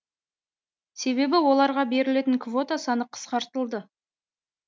себебі оларға берілетін квота саны қысқартылды